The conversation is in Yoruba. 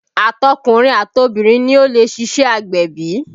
Àtọkùnrin àtọbìrin ni ó lè ṣíṣe agbẹ̀bí